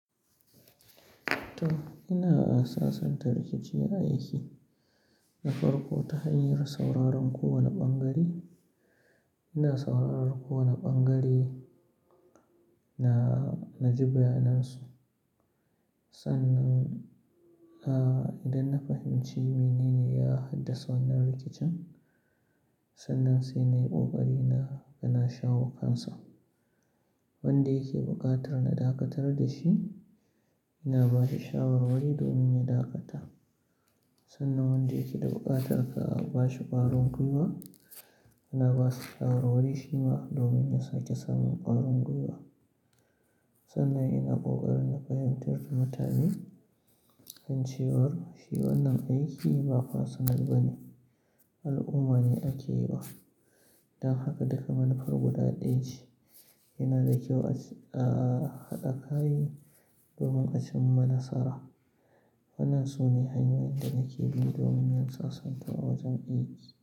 To, ina asasanta rikici a aiki na farko ta hanyar sauraron kowane ɓangare. Ina sauraron kowane ɓangare na, na ji bayanansu. Sannan, ah, idan na fahimci mene ne ya haddasa wannan rikicin, sannan sai na yi ƙoƙari na, na shawo kansu. Wanda yake buƙatar na dakatar da shi, ina ba da shawarwari domin ya dakata. Sannan wanda yake da buƙatar ka ba shi ƙarin gwiwa, ina ba su shawarwari shi ma domin ya sake samun ƙarin gwiwa. Sannan ina ƙoƙari na fahimtar da mutane an ce war, shi wannan aiki ba personal ba ne, al'umma ne ake yi wa. Dan haka duk manufar guda ɗaya ce. Ina da kyau a ci-- ah, a kaɗa kayi domin a cimma nasara. Wannan su ne hanyoyin da nake bin domin in tsatsanta a wajen aiki.